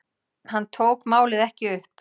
Hann tók málið ekki upp.